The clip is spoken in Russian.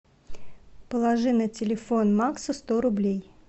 положи на телефон макса сто рублей